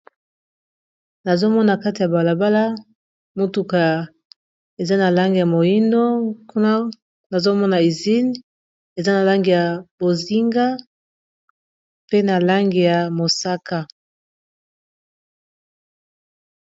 Nazomona kati ya balabala motuka eza na lange ya moindo, kuna nazomona isine eza na lange ya bozinga, pe na lange ya mosaka.